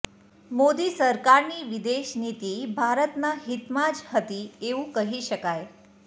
મોદી સરકારની વિદેશનીતિ ભારતના હિતમાં જ હતી એવું કહી શકાય